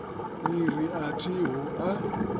ni ri a thiho a